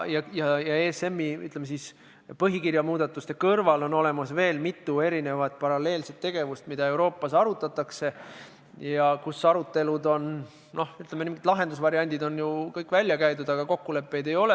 ESM-i põhikirja muudatuste kõrval on olemas veel mitu erinevat paralleelset tegevust, mida Euroopas arutatakse ja kus, ütleme, lahendusvariandid on aruteludes kõik välja käidud, aga kokkuleppeid ei ole.